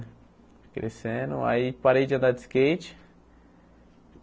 Fui crescendo, aí parei de andar de skate.